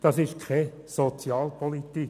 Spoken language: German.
Das ist keine Sozialpolitik.